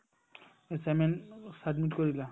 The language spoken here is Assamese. assignment submit কৰিলা